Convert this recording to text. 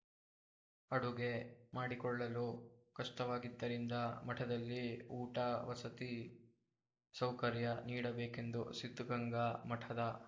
ಅಡುಗೆ ಮಾಡಿಕೊಳ್ಳಲು ಕಷ್ಟವಾಗಿದ್ದರಿಂದ ಮಠದಲ್ಲಿ ಊಟ ವಸತಿ ಸೌಕರ್ಯ ನೀಡಬೇಕೆಂದು ಸಿದ್ಧಗಂಗಾ ಮಠದ